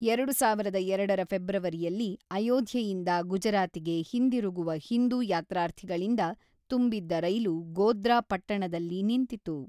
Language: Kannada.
ಎರಡು ಸಾವಿರದ ಎರಡರ ಫೆಬ್ರವರಿಯಲ್ಲಿ ಅಯೋಧ್ಯೆಯಿಂದ ಗುಜರಾತಿಗೆ ಹಿಂದಿರುಗುವ ಹಿಂದೂ ಯಾತ್ರಾರ್ಥಿಗಳಿಂದ ತುಂಬಿದ್ದ ರೈಲು ಗೋಧ್ರಾ ಪಟ್ಟಣದಲ್ಲಿ ನಿಂತಿತು.